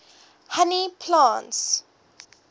honey plants